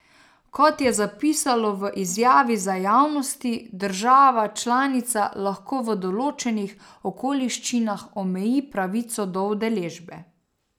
Kot je zapisalo v izjavi za javnosti, država članica lahko v določenih okoliščinah omeji pravico do udeležbe.